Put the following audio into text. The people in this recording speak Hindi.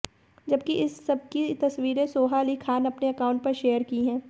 जबकि इस सबकी तस्वीरें सोहा अली खान अपने अकाउंट पर शेयर की है